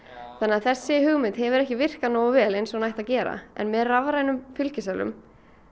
þessi hugmynd hefur ekki virkað nógu vel eins og hún ætti að gera en með rafrænum fylgiseðlum